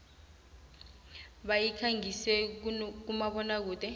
bayikhangisa kumabona kude